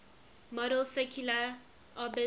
model's circular orbits